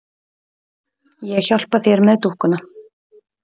Ég hjálpa þér með dúkkuna.